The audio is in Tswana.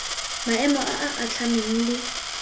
maemo a a atlhameng le